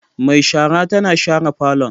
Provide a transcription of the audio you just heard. Mai shara tana share falon.